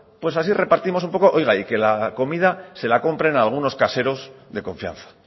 así repartimos un poco oiga y que la comida se la compren a algunos caseros de confianza